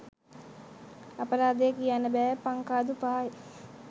අපරාදේ කියන්න බෑ පංකාදු පහයි